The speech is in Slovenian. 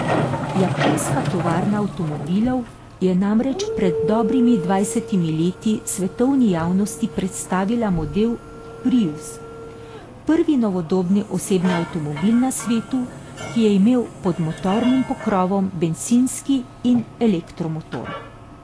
Japonska tovarna avtomobilov je namreč pred dobrimi dvajsetimi leti svetovni javnosti predstavila model prius, prvi novodobni osebni avtomobil na svetu, ki je imel pod motornim pokrovom bencinski in elektromotor.